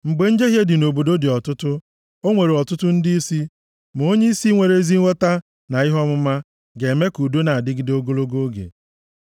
Mgbe njehie dị nʼobodo dị ọtụtụ, o nwere ọtụtụ ndịisi, ma onyeisi nwere ezi nghọta na ihe ọmụma ga-eme ka udo na-adịgide ogologo oge.